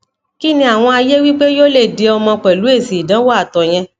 kí ni awon aye wipe yoo le di omo pelu esi idanwo ato yen